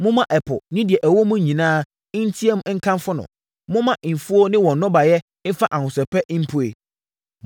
Momma ɛpo ne deɛ ɛwɔ mu nyinaa nteam nkamfo no. Momma mfuo ne wɔn nnɔbaeɛ mfa ahosɛpɛ mpue.